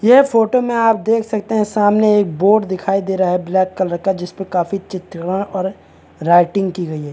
येर photo में आप देख सकते है सामने एक बोट दिखाई दे रहा है ब्लैक कलर का जिसपे काफी चित्र और राइटिंग की गयी हैं।